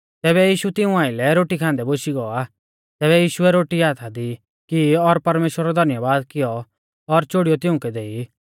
तैबै यीशु तिऊं आइलै रोटी खान्दै बोशी गौ आ तैबै यीशुऐ रोटी हाथा दी की और परमेश्‍वरा रौ धन्यबाद कियौ और चोड़ीयौ तिउंकै देई